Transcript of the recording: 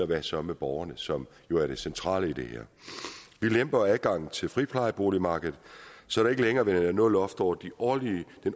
hvad så med borgerne som jo er det centrale i det her vi lemper adgangen til friplejeboligmarkedet så der ikke længere er noget loft over den årlige